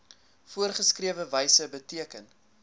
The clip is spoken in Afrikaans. voorgeskrewe wyse beteken